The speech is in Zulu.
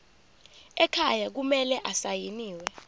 ekhaya kumele asayiniwe